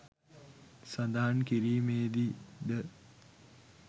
සඳහන් කිරීමේදී ද